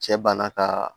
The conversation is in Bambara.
Cɛ banna ka